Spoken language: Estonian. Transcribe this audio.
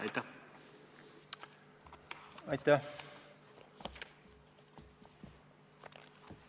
Aitäh!